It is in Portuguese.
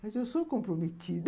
Mas eu sou comprometida.